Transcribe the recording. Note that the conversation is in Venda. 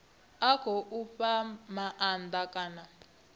a khou fha maanda kana